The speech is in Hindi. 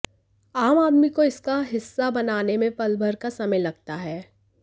आम आदमी को इसका हिस्सा बनने में पलभर का समय लगता है